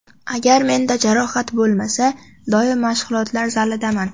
Agar menda jarohat bo‘lmasa, doim mashg‘ulotlar zalidaman.